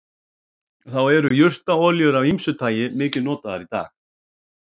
þá eru jurtaolíur af ýmsu tagi mikið notaðar í dag